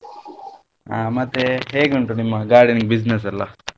ಹಾ ಮತ್ತೆ ಹೇಗೆ ಉಂಟು ನಿಮ್ಮ gardening business ಎಲ್ಲಾ?